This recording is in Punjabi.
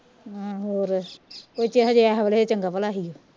ਅਮ ਹੋਰ ਹੋਲੇ ਚੰਗਾ ਭਲਾ ਹੀ